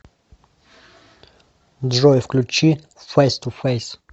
джой включи фэйс ту фэйс